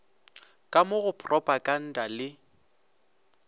ka mo go propaganda le